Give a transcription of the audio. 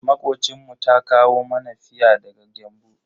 Makocinmu ta kawo mana fia daga Gembu.